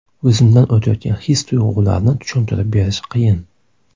O‘zimdan o‘tayotgan his-tuyg‘ularni tushuntirib berish qiyin.